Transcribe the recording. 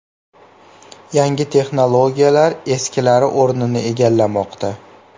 Yangi texnologiyalar eskilari o‘rnini egallamoqda.